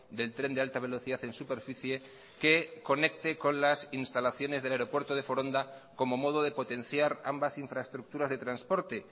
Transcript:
del tren de alta velocidad en superficie que conecte con las instalaciones del aeropuerto de foronda como modo de potenciar ambas infraestructuras de transporte